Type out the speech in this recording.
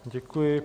Děkuji.